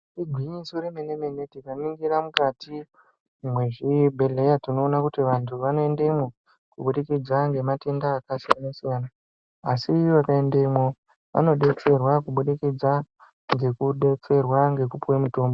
Igwinyiso remene-mene tikaningira mukati mwezvibhedhleya, tinoona kuti vantu vanoendemwo, kubudikidza ngematenda akasiyana-siyana. Asi vanoendemwo vanodetserwa kubudikidza ngekudetserwa ngekupuhwe mitombo.